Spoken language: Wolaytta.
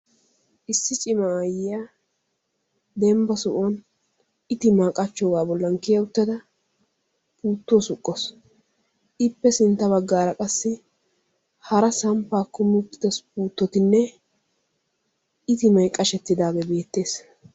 Issi cimma ayiya dembba sohuwan ittimaa qachchoogaa bolla Kiya uttada puuttuwa suqqaawusu. Ippe sinttaa bagaara qassi hara samppaa kummi uttida puuttotinne ittimmay qashshetidaagee beettees.